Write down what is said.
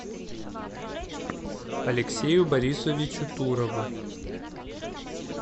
алексею борисовичу турову